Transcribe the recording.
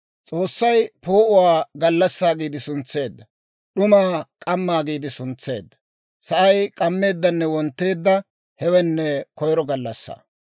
S'oossay poo'uwaa «Gallassaa» giide suntseedda; d'umaa «K'ammaa» giide suntseedda. Sa'ay k'ammeeddanne wontteedda; hewenne koyro gallassaa.